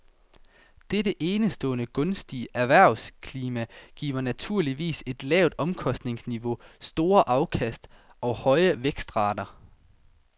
Dette enestående gunstige erhvervsklima giver naturligvis et lavt omkostningsniveau, store afkast og høje vækstrater.